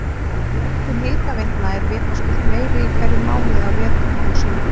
Notkun hitaveitna er vitaskuld meiri í hverjum mánuði á vetrum en sumrum.